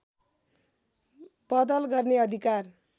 बदल गर्ने अधिकार